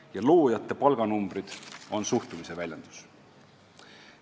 Ja loojate palganumbrid on suhtumise väljendus.